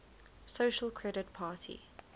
social credit party